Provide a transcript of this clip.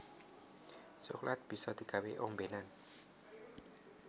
Coklat bisa digawé ombénan